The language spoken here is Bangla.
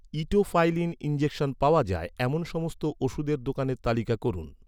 ইটোফাইলিন ইনজেকশন পাওয়া যায়, এমন সমস্ত ওষুধের দোকানের তালিকা করুন